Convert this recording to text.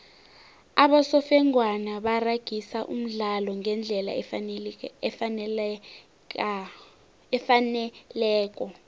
abosofengwana baragisa umdlalo ngendlela efaneleko